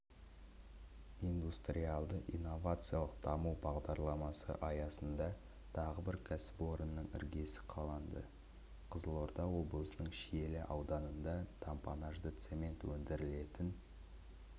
индустриалды-инновациялық даму бағдарламасы аясында тағы бір кәсіпорынның іргесі қаланды қызылорда облысының шиелі ауданында тампонажды цемент өндірілетін